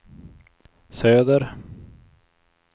söder